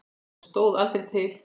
Og stóð aldrei til.